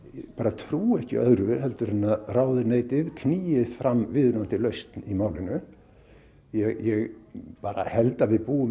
trúi ekki öðru en að ráðuneytið knýi fram viðunandi lausn í málinu ég held að við búum í